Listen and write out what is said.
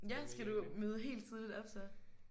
Ja skal du møde helt tidligt op så?